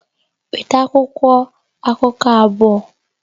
Weta akwụkwọ akụkọ abụọ!